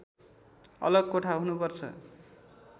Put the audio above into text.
अलग कोठा हुनुपर्छ